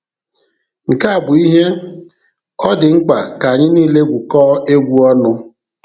Nke a bụ ihe "ọ dị mkpa ka anyị niile gwukọọ egwu ọnụ".